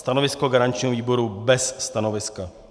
Stanovisko garančního výboru - bez stanoviska.